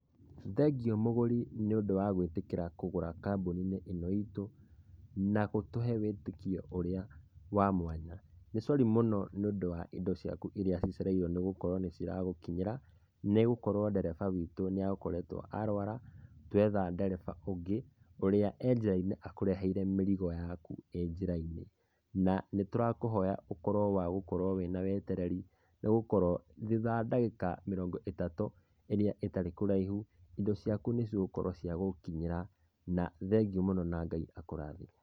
Thegio mũgũri nĩũndũ wa gũitĩkĩra kũgũra kambuni-inĩ ĩno itũ, nagũtũhe wĩtĩkio ũrĩa wa mwanya, nĩ cori mũno nĩ ũndũ wa ĩndo ciaku irĩa cicereirwo nĩgũkorwo nĩ ciragũkinyĩra, nĩgũkorwo ndereba wĩtũ nĩ agũkoretwo arũara, twetha ndereba ũngĩ ũrĩa e njĩra-inĩ akũreheire mĩrigo yaku e njĩra-inĩ, na nĩtũrakũhoya ũkorwo wa gũkorwo wĩna wetereri nĩgũkorwo, thutha wa dagĩka mĩrogo ĩtatũ ĩrĩa ĩtarĩ karaihu, indo ciaku nĩcigũkorwo cia gũkinyĩra na thegio mũno na Ngai akũrathime.